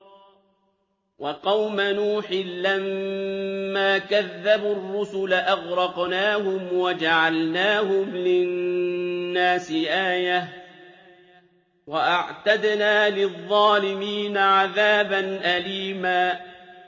وَقَوْمَ نُوحٍ لَّمَّا كَذَّبُوا الرُّسُلَ أَغْرَقْنَاهُمْ وَجَعَلْنَاهُمْ لِلنَّاسِ آيَةً ۖ وَأَعْتَدْنَا لِلظَّالِمِينَ عَذَابًا أَلِيمًا